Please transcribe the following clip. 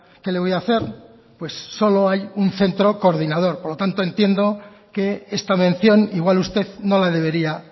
qué le voy a hacer pues solo hay un centro coordinador por lo tanto entiendo que esta mención igual usted no la debería